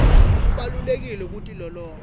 kubalulekile kutilolonga